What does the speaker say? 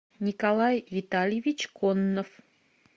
николай витальевич коннов